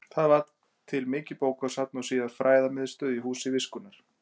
Þar varð til mikið bókasafn og síðar fræðamiðstöð í Húsi viskunnar.